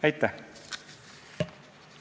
Aitäh!